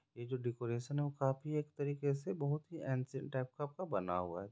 ये जो डेकोरेशन वो काफी एक तरीके से बहुत ही एन्सि-- टाइप का बना हुआ है।